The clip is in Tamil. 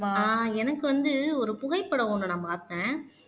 ஆஹ் எனக்கு வந்து ஒரு புகைப்படம் ஒண்ணு நான் பார்த்தேன்